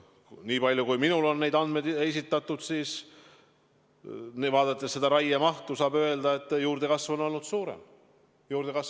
Nii palju kui minule on neid andmeid esitatud, saan raiemahtu vaadates öelda, et juurdekasv on olnud suurem.